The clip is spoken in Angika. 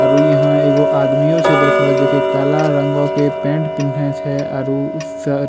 आरू इहां एगो आदमियों छै बैठलो जे कि काला रंगो के पेंट पिहना छै आरु उ श --